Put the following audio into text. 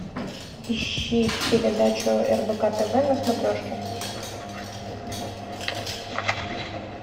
ищи передачу рбк тв на смотрешке